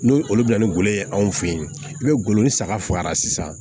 N'o olu bɛ na ni golo ye anw fɛ yen i bɛ ngolo ni saga faga sisan